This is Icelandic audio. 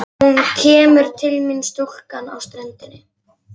Og hún kemur til mín stúlkan á ströndinni.